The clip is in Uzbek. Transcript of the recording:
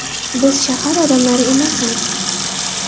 Biz shahar odamlari emasmiz.